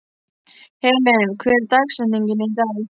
Helen, hver er dagsetningin í dag?